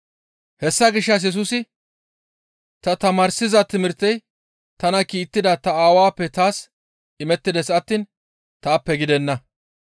Hessa gishshas Yesusi, «Ta tamaarsiza timirtey tana kiittida ta Aawappe taas imettides attiin taappe gidenna.